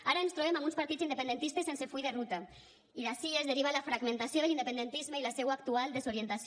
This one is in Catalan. ara ens trobem amb uns partits independentistes sense full de ruta i d’ací es deriva la fragmentació de l’independentisme i la seua actual desorientació